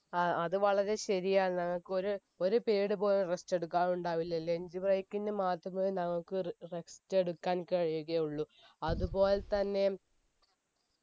ആ അത് വളരെ ശരിയാണ് ഞങ്ങക്ക് ഒര് ഒരു period പോലും rest എടുക്കാറുണ്ടാവില്ലലെ മാത്രമേ നമുക്ക് റ rest എടുക്കാൻ കഴിയുകയുള്ളൂ അത് പോലെത്തന്നെ